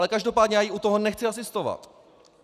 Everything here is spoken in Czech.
Ale každopádně já jí u toho nechci asistovat.